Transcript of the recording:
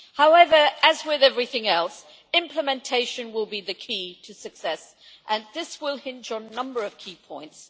However, as with everything else, implementation will be the key to success, and this will hinge on a number of key points.